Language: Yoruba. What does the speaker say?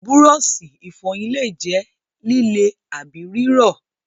Búrọ́ọ̀ṣì ìfọyín lè jẹ́ líle àbí rírọ̀.